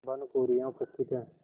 भानुकुँवरि यहाँ उपस्थित हैं